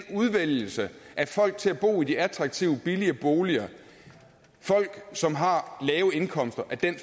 udvælgelse af folk til at bo i de attraktive billige boliger folk som har lave indkomster